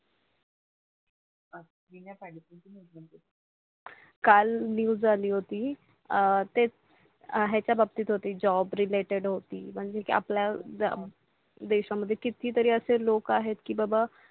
काल न्यूज आली होती तेच ह्याच्या बाबतीत होती Job related म्हणजे की आपल्या देशामध्ये किती तरी असे लोक आहे की बाबा